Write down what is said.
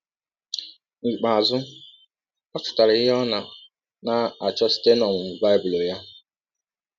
N’ikpeazụ, ọ chọtara ihe ọ nọ na - achọ site n’ọmụmụ Bible ya.